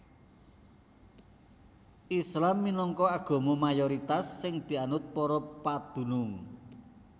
Islam minangka agama mayoritas sing dianut para padunung